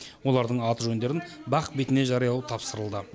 олардың аты жөндерін бақ бетіне жариялау тапсырылды